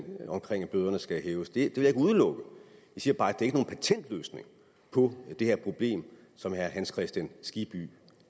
bøderne skal hæves det vil ikke udelukke jeg siger bare at det ikke er nogen patentløsning på det her problem som herre hans kristian skibby